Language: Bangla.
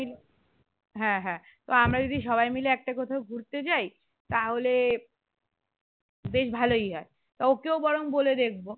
হ্যাঁ হ্যাঁ তো আমরা যদি সবাই মিলে একটা কোথাও ঘুরতে যাই তাহলে বেশ ভালোই হয়, তো ওকেও বরং বলে দেখবো